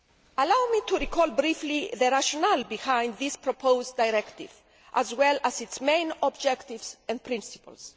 Allow me to recall briefly the rationale behind this proposed directive, as well as its main objectives and principles.